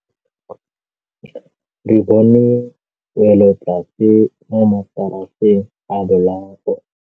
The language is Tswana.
Re bone wêlôtlasê mo mataraseng a bolaô.